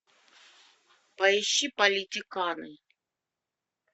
поищи политиканы